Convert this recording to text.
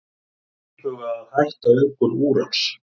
Íhuga að hætta auðgun úrans